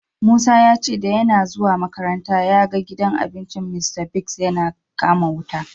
Musa ya ce da yanna zuwa makaranta ya gan gidan abincin Mr.Biggs yana kama wuta.